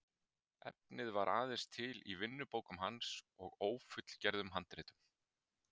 Efnið var aðeins til í vinnubókum hans og ófullgerðum handritum.